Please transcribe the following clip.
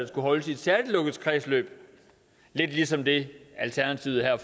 skulle holdes i et særligt lukket kredsløb lidt ligesom det alternativet her